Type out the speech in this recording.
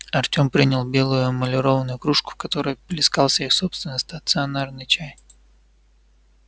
артём принял белую эмалированную кружку в которой плескался их собственный стационарный чай